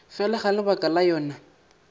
fela ga lebaka la yona